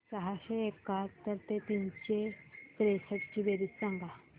सहाशे एकाहत्तर व तीनशे त्रेसष्ट ची बेरीज सांगा